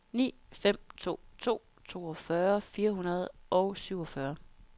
ni fem to to toogfyrre fire hundrede og syvogfyrre